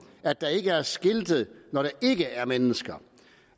at der ikke er skiltet når der ikke er mennesker